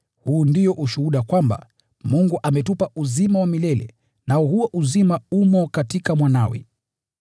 Huu ndio ushuhuda: kwamba Mungu ametupa uzima wa milele, nao huo uzima umo katika Mwanawe.